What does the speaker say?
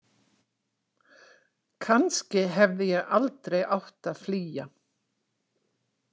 Kannski hefði ég aldrei átt að flýja.